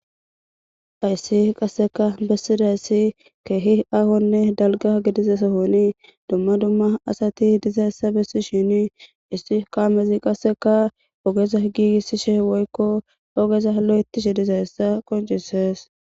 Hayssi qasseka bessidayyssi keehi ahonne dalga gidiza sahonii dumma dumma asati dizaessa bessi shini issi kaamezi qasseka ogeza giigissishe woykko ogeza lo7ettishe diza hessa qoncisees.